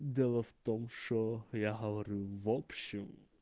дело в том что я говорю в общем